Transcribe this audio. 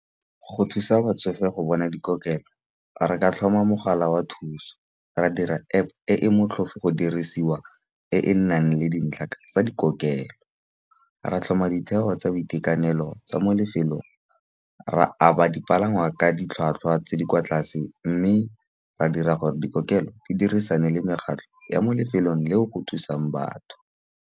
Go thusa batsofe go bona dikokelo re ka tlhoma mogala wa thuso, ra dira App e e motlhofu go dirisiwa e e nang le dintlha tsa dikokelo. Ra tlhoma ditheo tsa boitekanelo tsa mo lefelong, ra a ba dipalangwa ka ditlhwatlhwa tse di kwa tlase. Mme ra dira gore dikokelo di dirisane le mekgatlho ya mo lefelong le o go thusang batho.